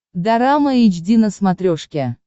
дорама эйч ди на смотрешке